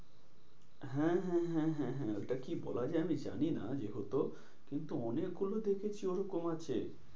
হ্যাঁ হ্যাঁ হ্যাঁ হ্যাঁ ওইটা কি বলা যায় আমি জানি না যেহেতু। কিন্তু অনেকগুলো দেখেছি ওরকম আছে।